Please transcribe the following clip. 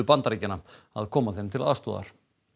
Bandaríkjanna að koma þeim til aðstoðar